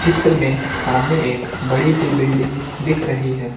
मे सामने एक बड़ी सी बिल्डिंग दिख रही है।